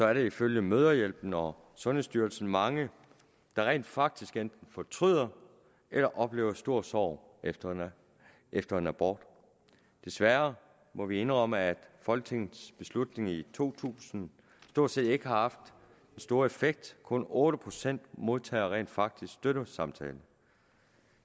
er der ifølge mødrehjælpen og sundhedsstyrelsen mange der rent faktisk enten fortryder eller oplever en stor sorg efter efter en abort desværre må vi indrømme at folketingets beslutning i to tusind ikke har haft den store effekt kun otte procent modtager rent faktisk støttesamtalen